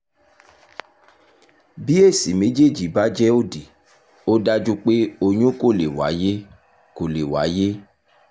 bí èsì méjèèjì bá jẹ́ òdì ó dájú pé oyún kò lè wáyé kò lè wáyé